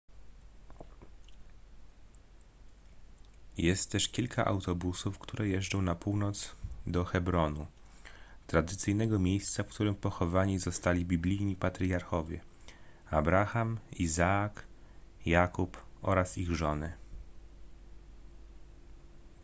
jest też kilka autobusów które jeżdżą na północ do hebronu tradycyjnego miejsca w którym pochowani zostali biblijni patriarchowie abraham izaak jakub oraz ich żony